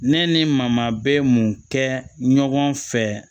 Ne ni maama bɛ mun kɛ ɲɔgɔn fɛ